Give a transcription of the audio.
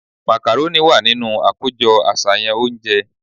Macaroni wà nínú akojọ aṣayan ounje